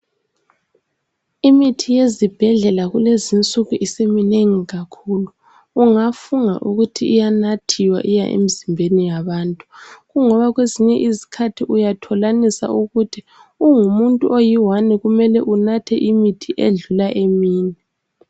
Imithi yezibhedlela kulezinsuku isiminengi kakhulu ungafunga ukuthi inathwa isiya emizimbeni yabantu kungoba kwezinye izikhathi uyathola ukuthi ungumuntu oyedwa kumele anathe imithi edlula emine.